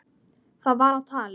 Það var á tali.